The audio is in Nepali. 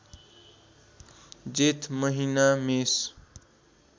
जेठ महिना मेष